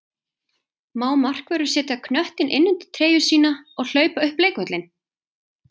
Má markvörður setja knöttinn inn undir treyju sína og hlaupa upp leikvöllinn?